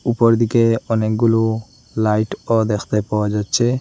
উপর দিকে অনেকগুলো লাইটও দেখতে পাওয়া যাচ্ছে।